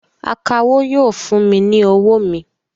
Akawó yóò fún mi ní owó mi